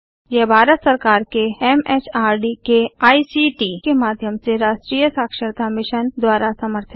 यह भारत सरकार के एमएचआरडी के आईसीटी के माध्यम से राष्ट्रीय साक्षरता मिशन द्वारा समर्थित है